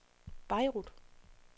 Beirut